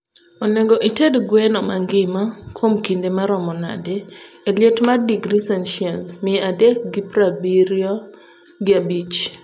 onego ited gweno mangima kuom kinde marom nade e liet mar digri celcius mia adek gi praabirio gi apich